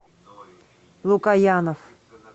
лукоянов